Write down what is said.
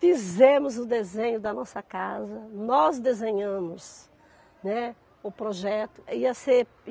Fizemos o desenho da nossa casa, nós desenhamos, né, o projeto. Ia ser